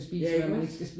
Ja iggås